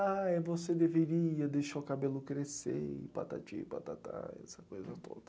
Ah, você deveria deixar o cabelo crescer e patati, patatá, essa coisa toda.